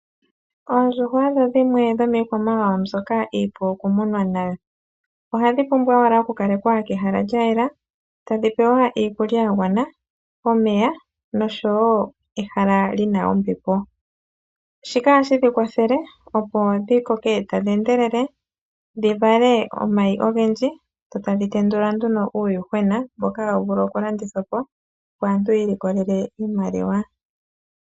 Oondjuhwa odho dhimwe dhomikwamawawa mbyoka iipu okumunwa nayo. Ohadhi pumbwa owala okukalekwa kehala lyayela, tadhi pewa iikulya ya gwana, omeya nosho wo ehala li na ombepo. Shika ohashi dhi kwathele opo dhi koke tadhi endelele, dhi vale omayi ogendji, dho tadhin tendula nduno uuyuhwena mboka hawu vulu okulandithwa po opo aantu yi ilikolele iimaliwa.